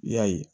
I y'a ye